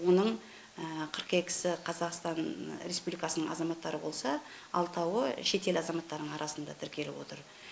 оның қырық екісі қазақстан республикасының азаматтары болса алтауы шетел азаматтарының арасында тіркеліп отыр